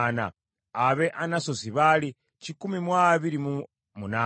ab’e Anasosi baali kikumi mu abiri mu munaana (128),